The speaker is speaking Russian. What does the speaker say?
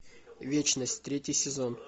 вечность третий сезон